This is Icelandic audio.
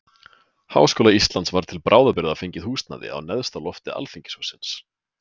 Háskóla Íslands var til bráðabirgða fengið húsnæði á neðsta lofti alþingishússins.